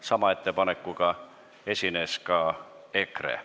Sama ettepanekuga esines ka EKRE.